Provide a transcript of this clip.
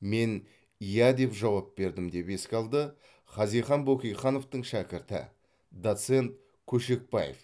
мен иә деп жауап бердім деп еске алды хазихан бөкейхановтың шәкірті доцент көшекбаев